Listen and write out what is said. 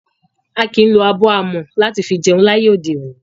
A kìí lo abọ́ amọ̀ láti fi jẹun láyé òde òní.